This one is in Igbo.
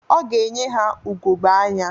Ọ ga-enye ha ugogbe anya.